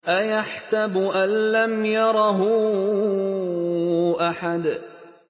أَيَحْسَبُ أَن لَّمْ يَرَهُ أَحَدٌ